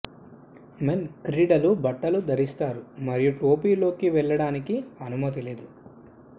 men క్రీడలు బట్టలు ధరిస్తారు మరియు టోపీ లోకి వెళ్ళడానికి అనుమతి లేదు